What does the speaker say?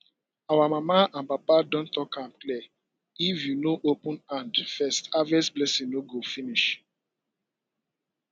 our mama and papa don talk am clear if you no open hand first harvest blessing no go finish